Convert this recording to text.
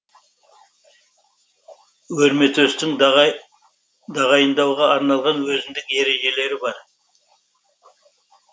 өрметөстің дағайындауға арналған өзіндік ережелері бар